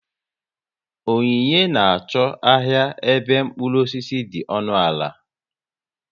Onyinye na achọ ahịa ebe mkpụrụ osisi dị ọnụ ala